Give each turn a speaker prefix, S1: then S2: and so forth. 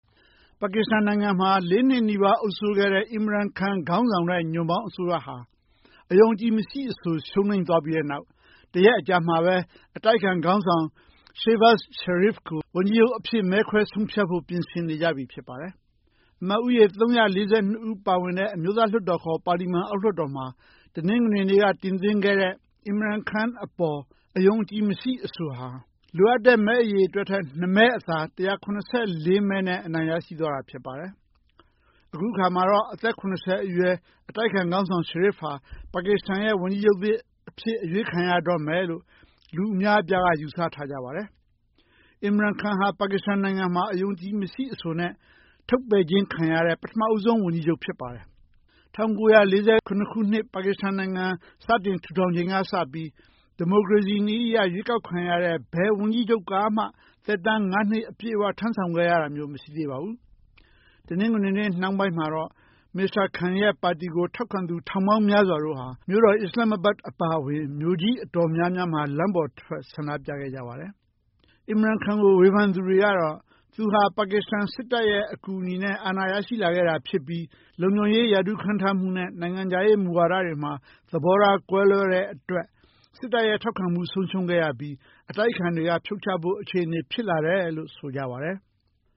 S1: ပါကစ္စတန်နိုင်ငံမှာ ၄ နှစ်နီးပါး အုပ်စိုးခဲ့တဲ့ Imran Khan ခေါင်းဆောင်တဲ့ ညွန့်ပေါင်းအစိုးရဟာ အယုံအကြည်မရှိအဆို ရှုံးနိမ့်သွားပြီး နောက်တရက်အကြာမှာပဲ အတိုက်အခံခေါင်းဆောင် Shehbaz Sharif ကို ဝန်ကြီးချုပ်အဖြစ် မဲခွဲဆုံးဖြတ်ဖို့ ပြင်ဆင်နေကြပြီ ဖြစ်ပါတယ်။ အမတ်ဦးရေ ၃၄၂ ဦးပါဝင်တဲ့ အမျိုးသားလွှတ်တော်ခေါ် ပါလီမန် အောက်လွှတ်တော်မှာ တနင်္ဂနွေနေ့က တင်သွင်းခဲ့တဲ့ Imran Khan အပေါ် အယုံအကြည်မရှိအဆိုဟာ လိုအပ်တဲ့ မဲအရေအတွက်ထက် ၂ မဲအသာ ၁၇၄ မဲနဲ့ အနိုင်ရရှိသွားတာ ဖြစ်ပါတယ်။ အခုအခါမှာတော့ အသက် ၇၀ အရွယ် အတိုက်အခံခေါင်းဆောင် Sharif ဟာ ပါကစ္စတန်ရဲ့ ဝန်ကြီးချုပ်သစ်အဖြစ် အရွေးခံရတော့မယ်လို့ လူအများအပြားက ယူဆထားကြတာပါ။ Imran Khan ဟာ ပါကစ္စတန်နိုင်ငံမှာ အယုံအကြည်မရှိအဆိုနဲ့ ထုတ်ပယ်ခြင်းခံရတဲ့ ပထမဦးဆုံးဝန်ကြီးချုပ် ဖြစ်ပါတယ်။ ၁၉၄၇ ခုနှစ် ပါကစ္စတန်နိုင်ငံ စတင်ထူထောင်ပြီးချိန်ကစပြီး ဒီမိုကရေစီနည်းအရ ရွေးကောက်ခံရတဲ့ ဘယ်ဝန်ကြီးချုပ်ကမှ သက်တမ်း ၅ နှစ် အပြည့်အဝ ထမ်းဆောင်ခဲ့ရတာမျိုး မရှိသေးပါဘူး။ တနင်္ဂနွေနေ့ နှောင်းပိုင်းမှာတော့ မစ္စတာ Khan ရဲ့ပါတီကို ထောက်ခံသူ ထောင်ပေါင်းများစွာတို့ဟာ မြို့တော် အစ္စလမ္မာဘတ် အပါအဝင် မြို့ကြီးအတော်များများမှာ လမ်းပေါ်ထွက် ဆန္ဒပြခဲ့ကြပါတယ်။ Imran Khan ကို ဝေဖန်သူတွေကတော့ သူဟာ ပါကစ္စတန်စစ်တပ်ရဲ့ အကူအညီနဲ့ အာဏာရရှိလာတာဖြစ်ပြီး လုံခြုံရေးရာထူး ခန့်ထားမှုနဲ့ နိုင်ငံခြားရေး မူဝါဒတွေမှာ သဘောထားကွဲလွဲတဲ့အတွက် စစ်တပ်ရဲ့ထောက်ခံမှု ဆုံးရှုံးခဲ့ရပြီး အတိုက်အခံတွေက ဖြုတ်ချဖို့အခြေအနေ ဖြစ်လာတယ်လို့ ဆိုကြပါတယ်။